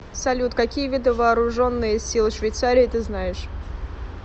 салют какие виды вооруженные силы швейцарии ты знаешь